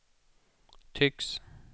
tycks